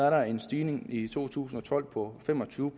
at der er en stigning i to tusind og tolv på fem og tyve